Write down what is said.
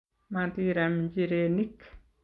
matiram nchirenik